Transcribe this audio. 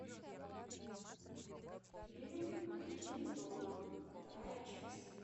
фильм один дома вторая часть